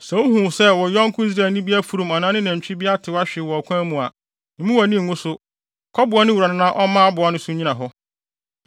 Sɛ wuhu sɛ wo yɔnko Israelni bi afurum anaa ne nantwi bi atew ahwe wɔ ɔkwan mu a, mmu wʼani ngu so. Kɔboa ne wura no na ɔmma aboa no so nnyina hɔ.